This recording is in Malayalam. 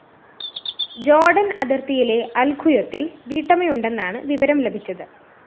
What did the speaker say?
ജോര്‍ഡന്‍ അതിര്‍ത്തിയിലെ അല്‍ഖുയൊത്തില്‍ വീട്ടമ്മയുണ്ടെന്നാണ് വിവരം ലഭിച്ചത്